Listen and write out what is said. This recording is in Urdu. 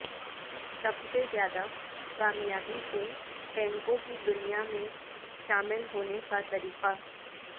سب سے زیادہ کامیابی سے ٹینکوں کی دنیا میں شامل ہونے کا طریقہ